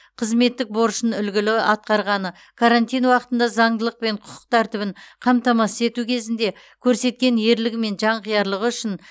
қызметтік борышын үлгілі атқарғаны карантин уақытында заңдылық пен құқық тәртібін қамтамасыз ету кезінде көрсеткен ерлігі мен жанқиярлығы үшін